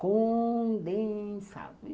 Condensado.